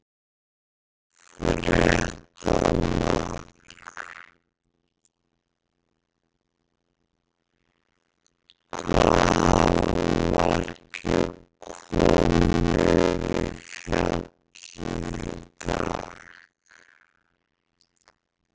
Fréttamaður: Hvað hafa margir komið í fjallið í dag?